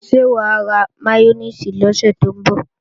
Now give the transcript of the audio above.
Ṣé wà á ra máyónèsì lọ́sẹ̀ tó ń bọ̀?